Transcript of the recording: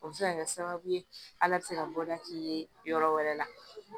O bɛ se ka kɛ sababu ye ala bɛ se ka bɔda k'i ye yɔrɔ wɛrɛ la